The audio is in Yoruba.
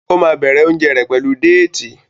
o má bẹrẹ oúnjẹ rẹ pẹlú Déètì.